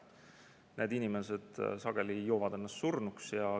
Need inimesed sageli joovad ennast surnuks.